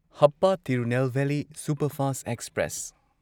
Hapa Tirunelveli superfast express